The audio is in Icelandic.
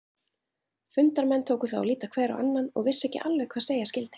Fundarmenn tóku þá að líta hver á annan og vissu ekki alveg hvað segja skyldi.